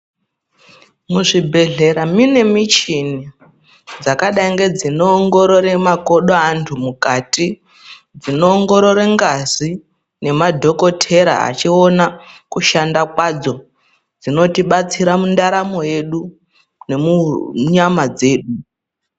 Muzvibhedhlera mune michini yakadai ngeinoongorore makodo evanthu mukati zvinoongorore ngazi yechiona kushanda kwadzo zvinotibatsira mundaramo dzedu nemunyama dzedu.